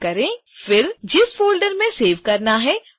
जिस फ़ोल्डर में सेव करना है उसका चयन करें